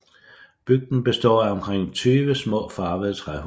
Bygden består af omkring 20 små farvede træhuse